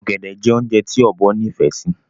Ọ̀gẹ̀dẹ̀ jẹ́ oúnjẹ tí Ọ̀bọ nifẹ sì